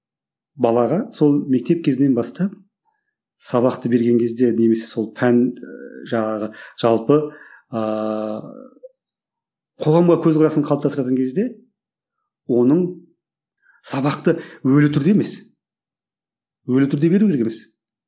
балаға сол мектеп кезінен бастап сабақты берген кезде немесе сол пән і жаңағы жалпы ыыы қоғамға көзқарасын қалыптастыратын кезде оның сабақты өлі түрде емес өлі түрде беру керек емес